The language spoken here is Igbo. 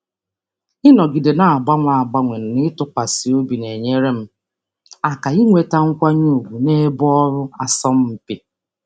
Ịnọgide na-agbanwe agbanwe na ịtụkwasị obi na-enyere m aka inweta nkwanye ùgwù n'ebe ọrụ asọmpi.